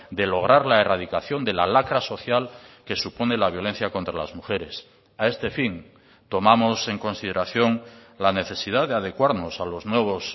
de lograr la erradicación de la lacra social que supone la violencia contra las mujeres a este fin tomamos en consideración la necesidad de adecuarnos a los nuevos